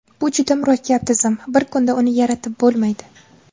Bu juda murakkab tizim, bir kunda uni yaratib bo‘lmaydi.